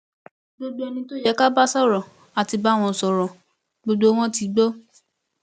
gbogbo ẹni tó yẹ ká bá sọrọ á ti bá wọn sọrọ gbogbo wọn ti gbó